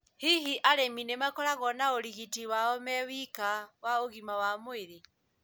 Hihi arĩmi nĩmakoragwo na ũrigiti wao me wika wa ũgima wa mwĩrĩ?